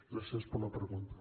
gràcies per la pregunta